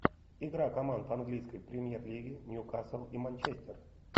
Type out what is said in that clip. игра команд английской премьер лиги ньюкасл и манчестер